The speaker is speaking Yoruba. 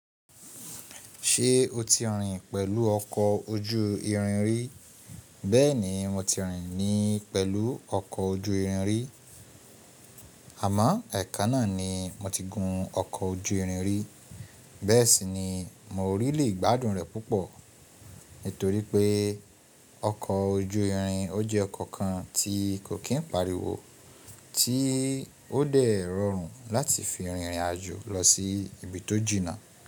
Ṣé o ti rìn pẹ̀lú ọkọ̀ ojú irin rí? Bẹ́ẹ̀ni, mo ti rìn ni pẹ̀lú ọkọ̀ ojú irin rí. Àmọ́, ẹkan náà ni mo ti gún ọkọ̀ ojú irin rí, bẹ́ẹ̀ sì ni mo rí lè gbádùn rẹ̀ púpọ̀. Nítorí pé ọkọ̀ ojú irin ó jẹ́ ọkọ̀ kan tí kò kín pàríwó, tí ó dẹ̀ rọrùn láti fi rìnrìn àjò lọ sí ibi tó jìna.